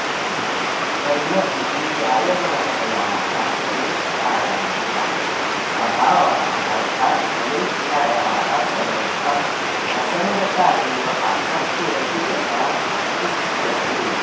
कर्मभिः जायमानायाः फलेच्छायाः अभावः अर्थात् फलेच्छायाः सर्वथा असङ्गता एव आसक्तिरहितता उच्यते